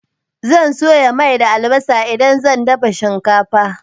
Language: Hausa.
Zan soya mai da albasa idan zan dafa shinkafa.